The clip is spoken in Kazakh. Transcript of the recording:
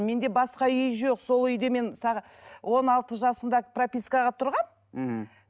менде басқа үй жоқ сол үйде мен он алты жасымда пропискаға тұрғанмын мхм